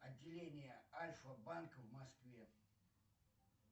отделение альфа банка в москве